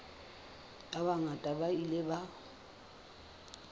ba bangata ba ile ba